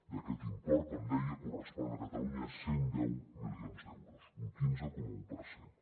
d’aquest import com deia corresponen a catalunya cent i deu milions d’euros un quinze coma un per cent